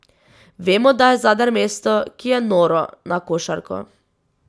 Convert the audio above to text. Vemo, da je Zadar mesto, ki je noro na košarko.